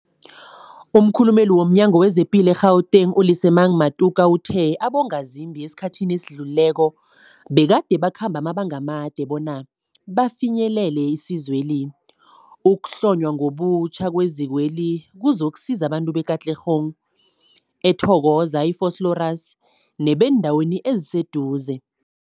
Umkhulumeli womNyango weZamaphilo we-Gauteng, u-Lesemang Matuka uthe abongazimbi esikhathini esidlulileko begade bakhamba amabanga amade bona bafinyelele isizweli. Ukuhlonywa ngobutjha kwezikweli kuzokusiza abantu be-Katlehong, e-Thokoza, Vosloorus nebeendawo eziseduze.